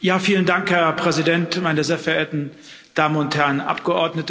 Herr Präsident, meine sehr verehrten Damen und Herren Abgeordnete!